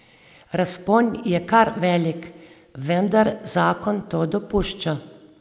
Razpon je kar velik, vendar zakon to dopušča.